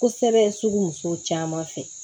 Kosɛbɛ sugu muso caman fɛ